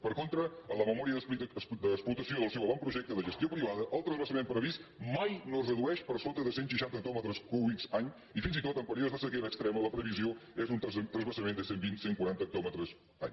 per contra en la memòria d’explotació del seu avantprojecte de gestió privada el transvasament previst mai no es redueix per sota de cent seixanta hectòmetres cúbics any i fins i tot en períodes de sequera extrema la previsió és un transvasament de cent vint cent quaranta hectòmetres any